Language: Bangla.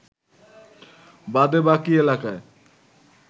বাদে বাকী এলাকায়